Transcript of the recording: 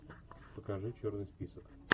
покажи черный список